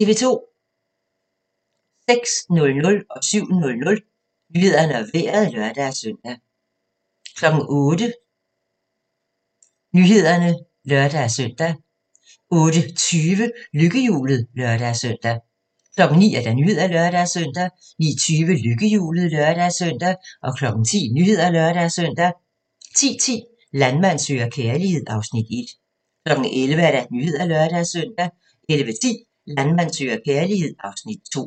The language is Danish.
06:00: Nyhederne og Vejret (lør-søn) 07:00: Nyhederne og Vejret (lør-søn) 08:00: Nyhederne (lør-søn) 08:20: Lykkehjulet (lør-søn) 09:00: Nyhederne (lør-søn) 09:20: Lykkehjulet (lør-søn) 10:00: Nyhederne (lør-søn) 10:10: Landmand søger kærlighed (Afs. 1) 11:00: Nyhederne (lør-søn) 11:10: Landmand søger kærlighed (Afs. 2)